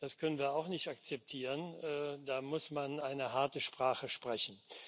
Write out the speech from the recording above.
Das können wir auch nicht akzeptieren, da muss man eine harte Sprache sprechen.